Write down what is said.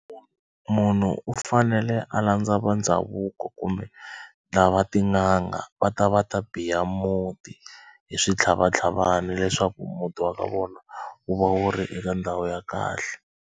Munhu u fanele a landza va ndhavuko kumbe lava tin'anga va ta va ta biya muti hi switlhavatlhavana leswaku muti wa ka vona wu va wu ri eka ndhawu ya kahle.